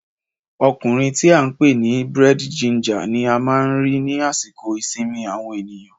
Ọkùnrin tí a ń pè ní búrẹ́dì ginger ni a máa ń rí ni àsìkò ìsinmi àwọn ènìyàn